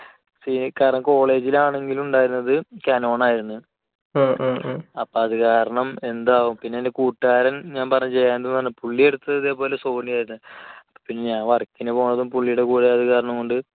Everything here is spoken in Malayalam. കാരണം college ൽ ആണെങ്കിലും ഉണ്ടായിരുന്നത് canon ആയിരുന്നു. അപ്പോൾ അത് കാരണം എന്താ, പിന്നെ എൻറെ കൂട്ടുകാരൻ ഞാൻ പറഞ്ഞില്ലേ ജയാനന്ദ് എന്ന് പറഞ്ഞത് പുള്ളി എടുത്തത് ഇതുപോലെ sony ആയിരുന്നു. ഇപ്പോൾ ഞാൻ work ന് പോകുന്നതും പുള്ളിയുടെ കൂടെ ആയതുകൊണ്ട്